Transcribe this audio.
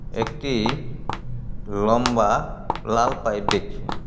একটি লম্বা লাল পাইপ দেখছি.